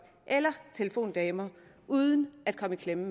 eller telefondamer uden at komme i klemme